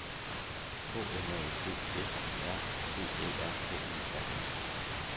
K N A L D F Y R V Æ R K E R I